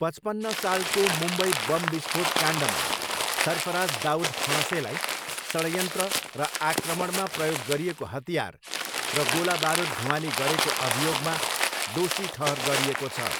पचपन्न सालको मुम्बई बम विस्फोट काण्डमा सर्फराज दाउद फणसेलाई षड्यन्त्र र आक्रमणमा प्रयोग गरिएको हतियार र गोलाबारुद ढुवानी गरेको अभियोगमा दोषी ठहर गरिएको छ।